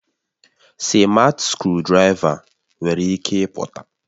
sịmatị skrụdiraiva nwere ike ịpụta